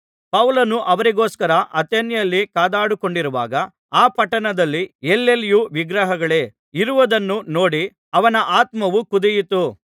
ಪೌಲನು ಅವರಿಗೋಸ್ಕರ ಅಥೇನೆಯಲ್ಲಿ ಕಾದುಕೊಂಡಿರುವಾಗ ಆ ಪಟ್ಟಣದಲ್ಲಿ ಎಲ್ಲೆಲ್ಲಿಯೂ ವಿಗ್ರಹಗಳೇ ಇರುವುದನ್ನು ನೋಡಿ ಅವನ ಆತ್ಮವು ಕುದಿಯಿತು